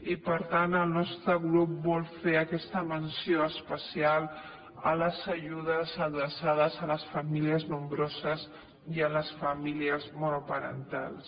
i per tant el nostre grup vol fer aquesta menció especial a les ajudes adreçades a les famílies nombroses i a les famílies monoparentals